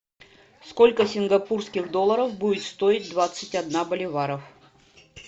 сколько сингапурских долларов будет стоить двадцать одна боливаров